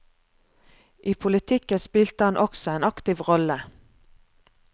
I politikken spilte han også en aktiv rolle.